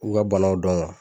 U ga banaw dɔn wa